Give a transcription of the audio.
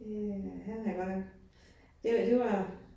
Det øh han er godt nok, det var det var